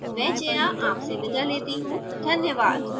यह स्क्रिप्ट श्रुति आर्य द्वारा अनुवादित है मैं जाया आपसे विदा लेती हूँ धन्यवाद